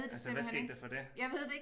Altså hvad skete der for det